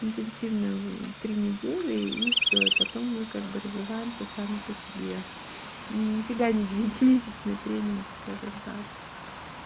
интенсивные три недели и всё и потом мы как бы развиваемся сами по себе нифига не девятимесячный тренинг скажем так